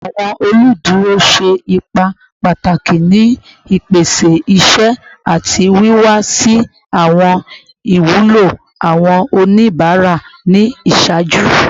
Awọn oluduro ṣe ipa pataki ni ipese iṣẹ ati wiwa si awọn iwulo awọn onibara ni iṣaaju